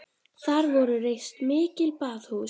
Þar voru reist mikil baðhús.